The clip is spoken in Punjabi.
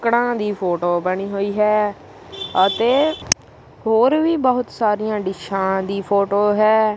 ਕੜਾਂ ਦੀ ਫੋਟੋ ਬਣੀ ਹੋਈ ਹੈ ਅਤੇ ਹੋਰ ਵੀ ਬਹੁਤ ਸਾਰੀਆਂ ਡਿਸ਼ਾਂ ਦੀ ਫੋਟੋ ਹੈ।